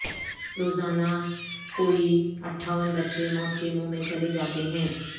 روزانہ کوئی اٹھاون بچے موت کے منہ میں چلے جاتے ہیں